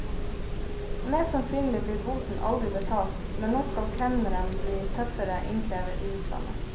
Mest sannsynlig blir boten aldri betalt, men nå skal kemneren bli tøffere innkrever i utlandet.